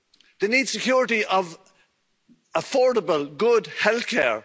They need the security of affordable, good healthcare.